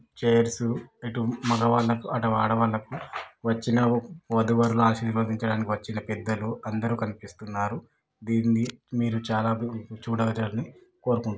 Chairs ఇటు మగవాళ్ళ కి అటు ఆడవాళ్ల కు వచ్చిన వధూవరుల ను ఆశీర్వదించడాని కి వచ్చిన పెద్దలు అందరూ కనిపిస్తున్నారు దీన్ని చాలా చూడజాల్లి కోరుకుంటున్నాం.